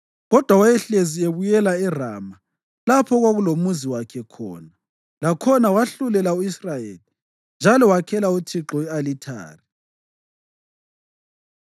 Kodwa wayehlezi ebuyela eRama lapho okwakulomuzi wakhe khona, lakhona wahlulela u-Israyeli. Njalo wakhela uThixo i-alithari.